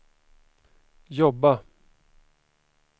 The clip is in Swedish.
jobba